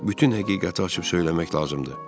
Bütün həqiqəti açıb söyləmək lazımdır.